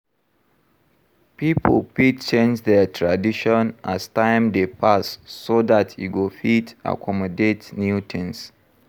Pipo fit change their tradition as time dey pass so dat e go fit accomodat new things